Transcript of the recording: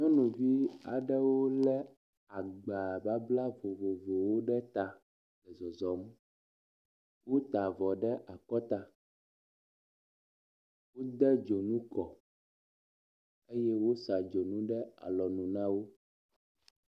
Nyɔnuvi aɖewo le agba babla vovovowo ɖe ta zɔzɔm. wota avɔ ɖe akɔta. Wode dzonu kɔ eye wosa dzonu ɖe alɔnu na wo.